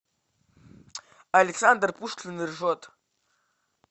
александр пушкин ржет